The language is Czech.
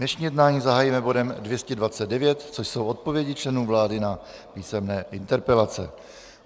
Dnešní jednání zahájíme bodem 229, což jsou odpovědi členů vlády na písemné interpelace.